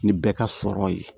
Ni bɛɛ ka sɔrɔ ye